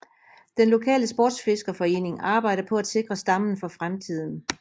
Den lokale sportsfiskerforening arbejder på at sikre stammen for fremtiden